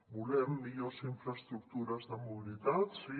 volem millors infraestructures de mobilitat sí